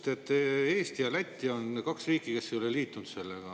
Te ütlesite, et Eesti ja Läti on kaks riiki, kes ei ole liitunud sellega.